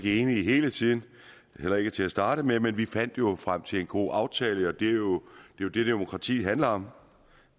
enige hele tiden heller ikke til at starte med men vi fandt frem til en god aftale og det er jo det demokrati handler om